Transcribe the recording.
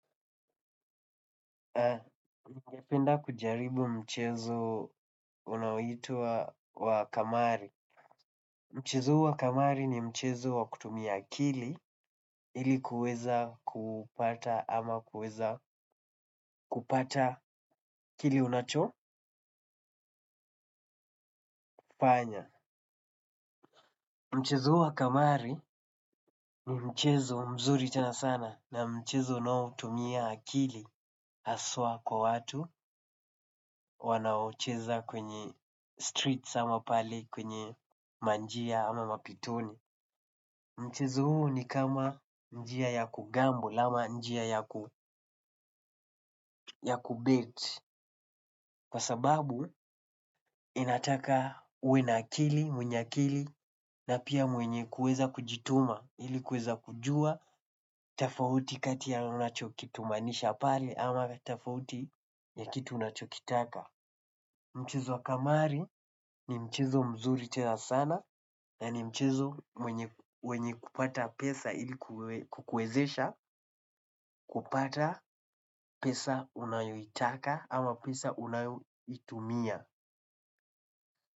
Nigependa kujaribu mchezo unao itwa wa kamari. Mchezo huu wa kamari ni mchezo wa kutumia akili ili kuweza kupata ama kuweza kupata kile unachofanya mchezo huu wa kamari ni mchezo mzuri tena sana na mchezo unaotumia akili haswa kwa watu wanaocheza kwenye streets ama pale kwenye ma njia ama mapitoni. Mchezo huu ni kama njia ya kugamble ama njia ya kubet kwa sababu inataka uwe na akili, mwenye akili, na pia mwenye kuweza kujituma, ili kuweza kujua, tofauti kati ya unachokitumanisha pale ama tofauti ya kitu unachokitaka. Mchezo wa kamari ni mchezo mzuri tena sana na ni mchezo wenye kupata pesa ili kukuwezesha kupata pesa unayoitaka ama pesa unayoitumia.